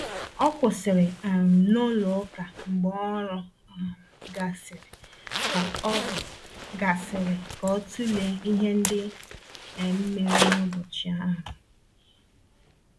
O kwụsịrị um n'ụlọ ụka mgbe ọrụ um gasịrị ka ọ gasịrị ka ọ tụlee ihe ndị um mere n’ụbọchị ahụ.